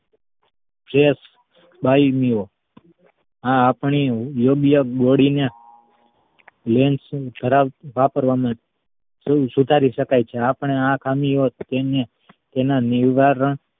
જે આ આપણી યોગ્ય body ને lens વાપરવાનું સુધારી શકાય છે આપડે આ ખામીઓ તેની ~તેના નિવારણ